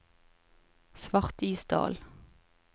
Svartisdal